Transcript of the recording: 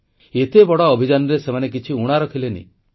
ଏତେ ବଡ଼ ଅଭିଯାନରେ ସେମାନେ କିଛି ଊଣା ରଖିଲେ ନାହିଁ